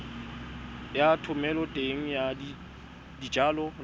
ya thomeloteng ya dijalo le